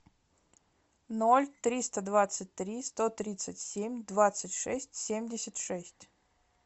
ноль триста двадцать три сто тридцать семь двадцать шесть семьдесят шесть